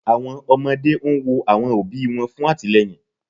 Awọn ọmọde n wo awọn obi wọn fun atilẹyin